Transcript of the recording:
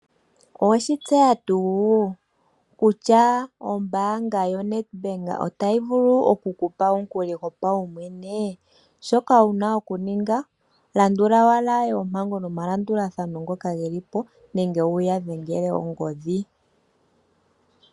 Oweshi tseya tuu kutya ombanga yoNetbank otayi vulu oku kupa omukuli gopawumwene shoka wuna okuninga landula owala oompango nomalandulathano ngoka geli po nenge wuya dhengele ongodhi.